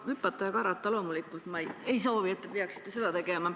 Hüpata ja karata – loomulikult ma ei soovi, et te seda peaksite tegema.